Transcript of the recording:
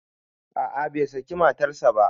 A'a bai saki matarsa ba